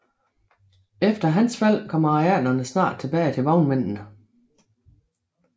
Efter hans fald kom arealerne snart tilbage til vognmændene